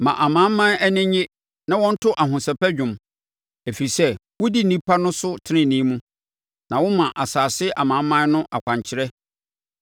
Ma amanaman ani nnye na wɔnto ahosɛpɛ dwom, ɛfiri sɛ wodi nnipa no so tenenee mu na woma asase so amanaman no akwankyerɛ.